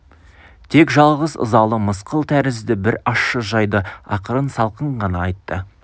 тек жалғыз ызалы мысқыл тәрізді бір ащы жайды ақырын салқын ғана айтты